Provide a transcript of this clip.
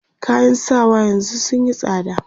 kayan sawa yanzun sunyi tsada